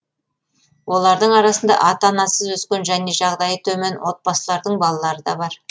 олардың арасында ата анасыз өскен және жағдайы төмен отбасылардың балалары да бар